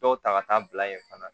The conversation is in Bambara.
Dɔw ta ka taa bila yen fana